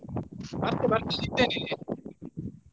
ಬರ್ತೆ ಬರ್ತಿದ್ದೇನೆ.